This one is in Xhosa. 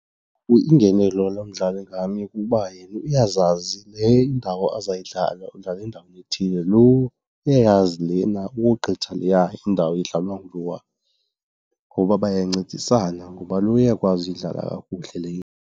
Iingenelo lomdlali ngamnye kukuba yena uyazazi le indawo azayidlala, udlala endaweni ethile. Lowo uyayazi lena ukogqitha leya indawo idlalwa ngulowo ngoba bayancedisana, ngoba lowa uyakwazi ukuyidlala kakuhle le.